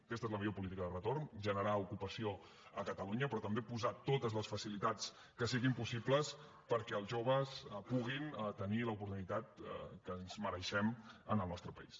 aquesta és la millor política de retorn generar ocupació a catalunya però també posar totes les facilitats que siguin possibles perquè els joves puguem tenir l’oportunitat que ens mereixem en el nostre país